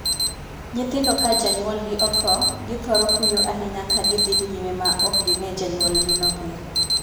Nyithindo ka janyuolgi othoo, githoro kuyo ahinya ka gidhi nyime ma ok ginee janyuolgino pile.